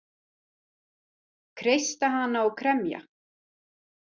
Kreista hana og kremja.